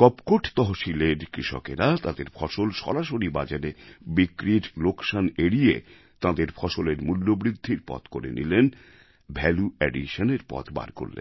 কপকোট তহশিলের কৃষকেরা তাঁদের ফসল সরাসরি বাজারে বিক্রির লোকসান এড়িয়ে তাঁদের ফসলের মূল্যবৃদ্ধির পথ করে নিলেন ভ্যালু additionএর পথ বার করলেন